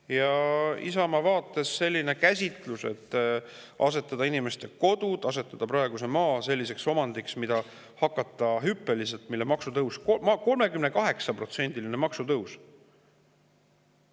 Isamaa sellise käsitlusega, et inimeste kodud ja maa tehakse praegu selliseks omandiks, millel on hüppeline maksutõus, 38%‑line maksutõus.